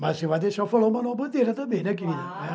Mas você vai deixar eu falar o Manuel Bandeira também, né, querida?